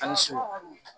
A ni so